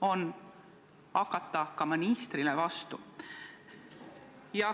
– on hakata ka ministrile vastu.